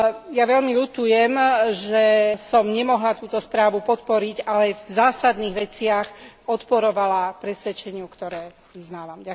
Ja veľmi ľutujem, že som nemohla túto správu podporiť, ale v zásadných veciach odporovala presvedčeniu, ktoré vyznávam.